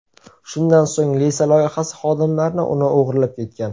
Shundan so‘ng Lisa loyihasi xodimlarini uni o‘g‘irlab ketgan.